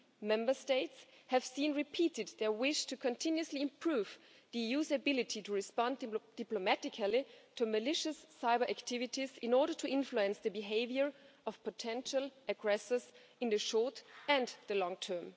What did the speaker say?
Member States have seen repeated their wish to continuously improve the EU's ability to respond to diplomatically to malicious cyber activities in order to influence the behaviour of potential aggressors in the short and the long term.